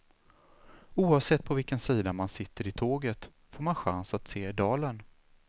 Oavsett på vilken sida man sitter i tåget får man chans att se dalen.